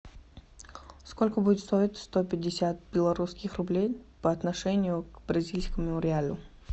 сколько будет стоить сто пятьдесят белорусских рублей по отношению к бразильскому реалу